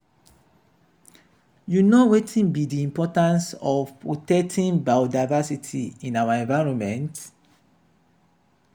you know wetin be di importance of protecting biodiversity in our environment?